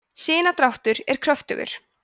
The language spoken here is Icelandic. sinadráttur er kröftugur